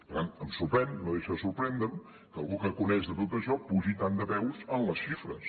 per tant em sorprèn no deixa de sorprendre’m que algú que coneix tot això pugi tant de peus en les xifres